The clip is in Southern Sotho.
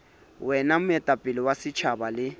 wena moetapele wa setjhaba le